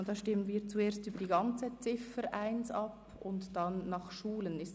Hier stimmen wir zuerst über die ganze Ziffer 1 ab, und dann stimmen wir nach Schulen ab.